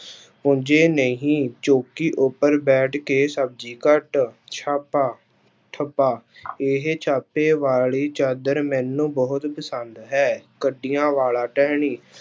ਭੁੰਜੇ ਨਹੀਂ ਚੌਂਕੀ ਉੱਪਰ ਬੈਠ ਕੇ ਸਬਜ਼ੀ ਕੱਟ, ਛਾਪਾ, ਥੱਬਾ ਇਹ ਛਾਪੇ ਵਾਲੀ ਚਾਦਰ ਮੈਨੂੰ ਬਹੁਤ ਪਸੰਦ ਹੈ ਕੰਡਿਆਂ ਵਾਲਾ ਟਹਿਣੀ।